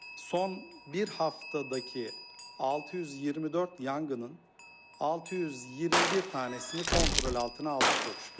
Son bir həftədəki 624 yanğının 621 dənəsini kontrol altına aldıq çox şükür.